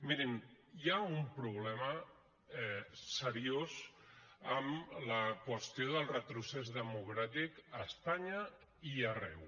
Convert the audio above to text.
mirin hi ha un problema seriós amb la qüestió del retrocés democràtic a espanya i arreu